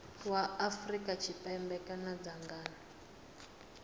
wa afrika tshipembe kana dzangano